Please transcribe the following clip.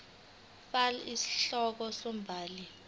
fal isihloko umbhali